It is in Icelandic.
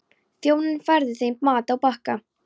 Þjónninn færði þeim mat á bakka.